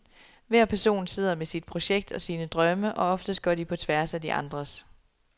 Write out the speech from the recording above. Hver person sidder med sit projekt og sine drømme, og oftest går de på tværs af de andres.